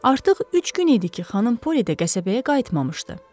Artıq üç gün idi ki, xanım Poli də qəsəbəyə qayıtmamışdı.